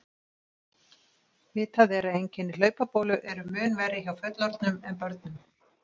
Vitað er að einkenni hlaupabólu eru mun verri hjá fullorðnum en börnum.